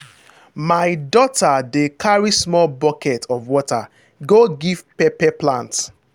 my daughter dey carry small bucket of water go give pepper plant.